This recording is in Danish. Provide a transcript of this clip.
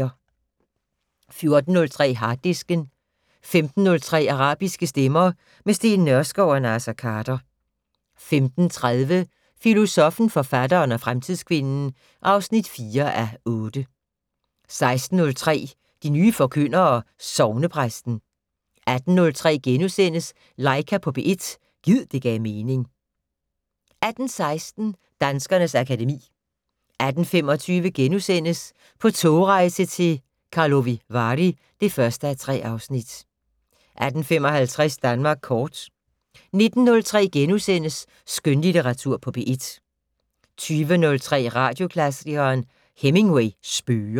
14:03: Harddisken 15:03: Arabiske stemmer - med Steen Nørskov og Naser Khader 15:30: Filosoffen, forfatteren og fremtidskvinden (4:8) 16:03: De nye forkyndere - Sognepræsten 18:03: Laika på P1 - gid det gav mening * 18:16: Danskernes akademi 18:25: På togrejse til Karlovy Vary (1:3)* 18:55: Danmark kort 19:03: Skønlitteratur på P1 * 20:03: Radioklassikeren: Hemingway spøger